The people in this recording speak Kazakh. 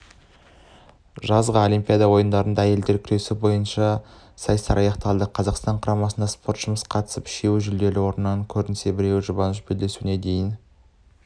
жазғы олимпиада ойындарында әйелдер күресі бойынша сайыстар аяқталды қазақстан қыздар құрамасынан спортшымыз қатысып үшеуі жүлделі орыннан көрінсе біреуі жұбаныш белдесуіне дейін